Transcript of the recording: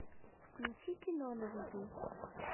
включи кино на виду